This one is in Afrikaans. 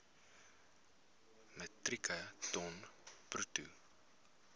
metrieke ton bruto